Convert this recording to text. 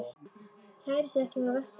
Kærir sig ekkert um að vökna.